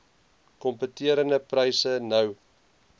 kompeterende pryse nou